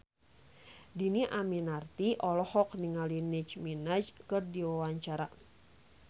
Dhini Aminarti olohok ningali Nicky Minaj keur diwawancara